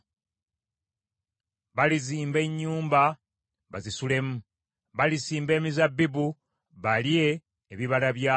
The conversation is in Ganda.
Balizimba ennyumba bazisulemu, balisimba emizabbibu balye ebibala byagyo.